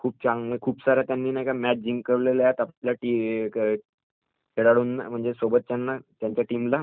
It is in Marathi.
खुपसाऱ्या त्याने मॅच जिंकावलेल्या आहेत आपल्या सोबतच्यांना, आपल्या टीम ला.